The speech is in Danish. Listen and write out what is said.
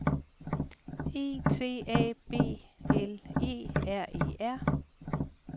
E T A B L E R E R